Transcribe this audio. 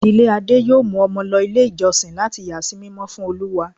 ìdílé Ade yóò mu Omo lo ilé ijosìn latí yà sí mímọ́ fún Olúwa.